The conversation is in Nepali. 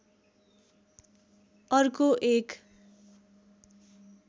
अर्को एक